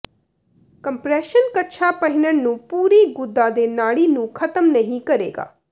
compression ਕੱਛਾ ਪਹਿਨਣ ਨੂੰ ਪੂਰੀ ਗੁੱਦਾ ਦੇ ਨਾੜੀ ਨੂੰ ਖ਼ਤਮ ਨਹੀ ਕਰੇਗਾ